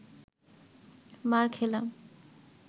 মার খেলাম